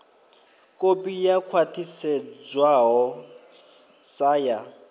kopi yo khwathisedzwaho sa ya